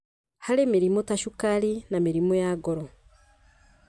harĩ mĩrimũ ta cukari na mĩrimũ ya ngoro.